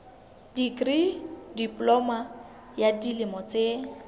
dikri diploma ya dilemo tse